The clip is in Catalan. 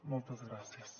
moltes gràcies